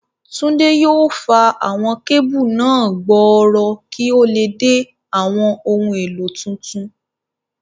Túndé yóò fa àwọn kébù náà gbòòrò kí ó lè dé àwọn ohun èlò tuntun.